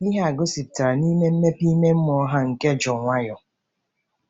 Ihe a gosipụtara n’ime mmepe ime mmụọ ha nke jụụ nwayọọ.